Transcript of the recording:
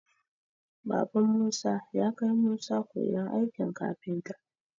Baban musa yakai musa koyan aikin kafinta.